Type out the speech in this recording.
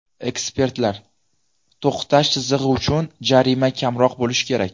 Ekspertlar: to‘xtash chizig‘i uchun jarima kamroq bo‘lishi kerak.